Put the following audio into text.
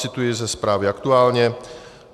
Cituji ze zprávy Aktuálně.